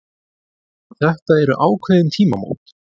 En þetta eru ákveðin tímamót